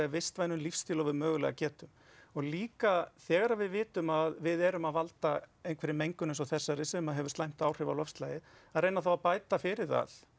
vistvænum lífsstíl og við mögulega getum og líka þegar við vitum að við erum að valda einhverri mengun eins og þessari sem hefur slæm árhif á loftslagið að reyna þá að bæta fyrir það